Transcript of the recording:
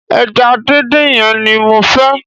Eja díndín yen ni mo fe